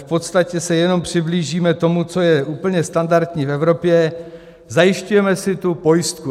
V podstatě se jenom přiblížíme tomu, co je úplně standardní v Evropě - zajišťujeme si tu pojistku.